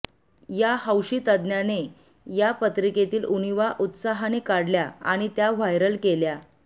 या हौशी तज्ज्ञाने या पत्रिकेतील उणिवा उत्साहाने काढल्या आणि त्या व्हायरल केल्या